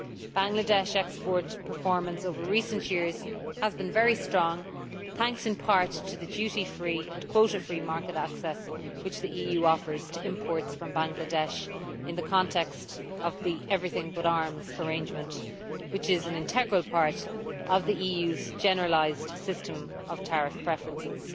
Bangladesh's exports performance over recent years has been very strong, thanks in part to the duty free and quota free market access which the EU offers to imports from Bangladesh in the context of the everything but arms' arrangement, which is an integral part of the EU's generalised system of tariff preferences.